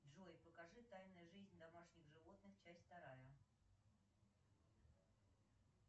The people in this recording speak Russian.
джой покажи тайная жизнь домашних животных часть вторая